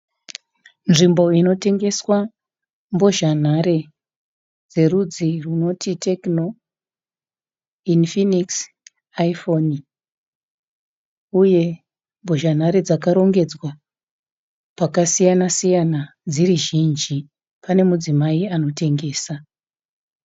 Nzvimbo inotengeswa mbozhanhare dzerudzi rwunoti Tecno, Infinix, Iphone, uye mbozhanhare dzakarongedzwa pakasiyana siyana dziri zhinji. Pane mudzimai anotengesa.